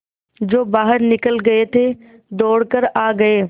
जो बाहर निकल गये थे दौड़ कर आ गये